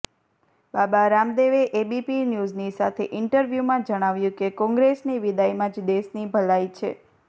બાબા રામદેવે એબીપી ન્યૂઝની સાથે ઇન્ટર્વ્યૂમાં જણાવ્યું કે કોંગ્રેસની વિદાઇમાં જ દેશની ભલાઇ છે